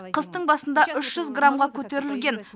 қыстың басында граммға көтерілген